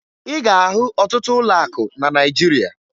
Ị ga-ahụ ọtụtụ ụlọakụ na Naịjirịa